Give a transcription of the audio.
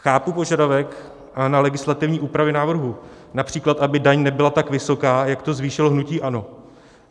Chápu požadavek na legislativní úpravy návrhu, například aby daň nebyla tak vysoká, jak to zvýšilo hnutí ANO.